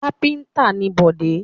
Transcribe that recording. Kápẹ́ńtà ni Bọ̀dé.